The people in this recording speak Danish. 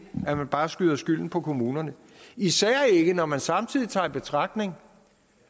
bare at skyde skylden på kommunerne især ikke når man samtidig tager i betragtning